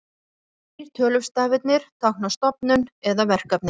Næstu þrír tölustafirnir tákna stofnun eða verkefni.